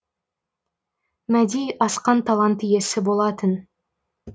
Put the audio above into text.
мәди асқан талант иесі болатын